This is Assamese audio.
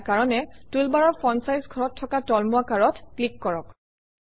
ইয়াৰ কাৰণে টুলবাৰৰ ফন্ট চাইজ ঘৰত থকা তলমুৱা কাঁডত ক্লিক কৰক